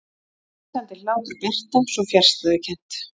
Hreinsandi hlátur Berta, svo fjarstæðukennt.